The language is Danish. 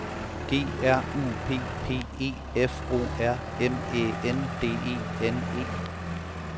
G R U P P E F O R M Æ N D E N E